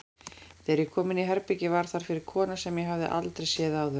Þegar ég kom inní herbergið var þar fyrir kona sem ég hafði aldrei séð áður.